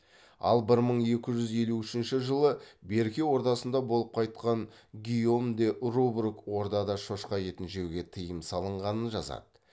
ал бір мың екі жүз елу үшінші жылы берке ордасында болып қайтқан гийом де рубрук ордада шошқа етін жеуге тиым салынғанын жазады